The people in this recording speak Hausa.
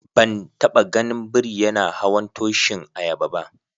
Ban taba gan biri yana hawan tushin ayaba ba.